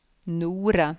Nore